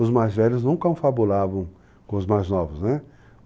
Os mais velhos nunca anfabulavam com os mais novos, né?